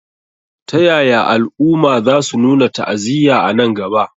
Ta yaya al'umma za su nuna ta'aziyya a nan gaba?